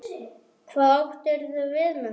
Hvað áttirðu við með því?